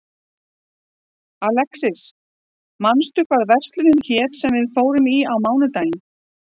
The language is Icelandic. Alexis, manstu hvað verslunin hét sem við fórum í á mánudaginn?